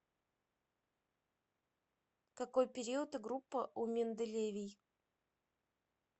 какой период и группа у менделевий